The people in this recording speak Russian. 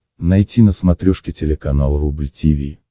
найти на смотрешке телеканал рубль ти ви